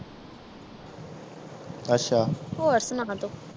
ਅੱਛਾ ਹੋਰ ਸੁਣਾ ਤੂੰ